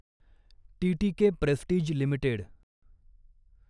TTK Prestige limited